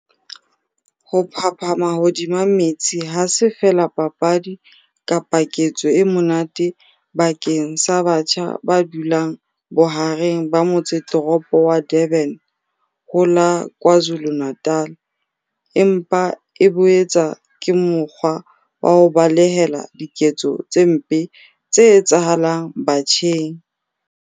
Ho phaphama hodima metsi ha se feela papadi kapa ketso e monate bakeng sa batjha ba dulang bohareng ba motseteropo wa Durban ho la KwaZulu-Natal empa e boetse ke mokgwa wa ho balehela diketso tse mpe tse etsahalang batjheng.